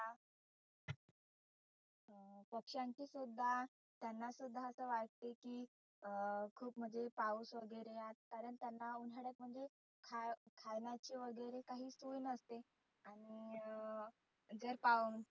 पक्षांची सुद्धा त्यांना सुद्धा असे वाटते की अं खुप म्हणजे पाऊस वगैरे आत पर्यंत उन्हाळ्यामध्ये खाय खाण्याची वगैरे काही सोय नसते आणि अं घर पाहुन